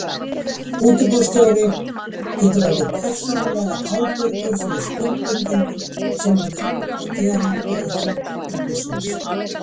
Útibússtjóri getur orðið persónulega ábyrgur fyrir skuldbindingum sem hann kann að gera fyrir hönd útibúsins.